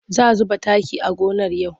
Za zuba taki a gonar Ya'u.